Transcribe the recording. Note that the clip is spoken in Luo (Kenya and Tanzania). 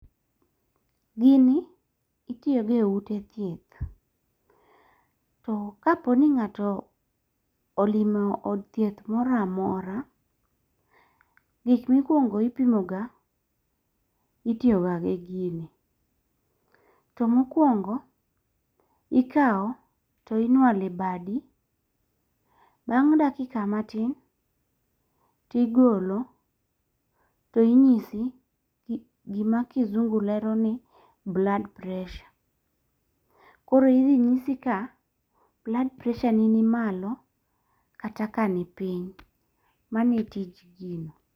Gini itiyo e ute thieth. To kapo ni ng'ato olimo od thieth moro amora, gik mikuongo ipimo ga itiyo ga gi gini. To mokwongo ikaw to inwalo e badi, bang' dakika matin tigolo to inyisi gima kisungu lero ni blood pressure. Koro indinyisi ka blood pressure ni malo kata ka ni piny. Mano e tij gino.